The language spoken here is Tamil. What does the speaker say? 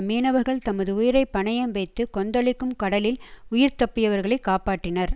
மீனவர்கள் தமது உயிரை பணயம் வைத்து கொந்தளிக்கும் கடலில் உயிர் தப்பியவர்களைக் காப்பாற்றினர்